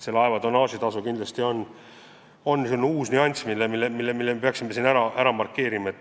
Laeva tonnaažitasu kindlasti on selline uus nüanss, mille me peaksime siin ära markeerima.